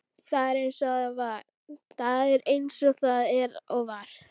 Það er eins og það er og var.